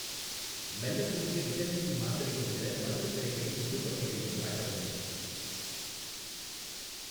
மெல்லக்கூடிய vitamin C மாத்திரைகள் உள்ள மருந்துக் கடைகளின் முழுப் பட்டியலையும் காட்டவும்